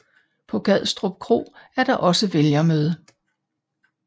På Gadstrup Kro er der også vælgermøde